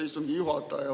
Aitäh, istungi juhataja!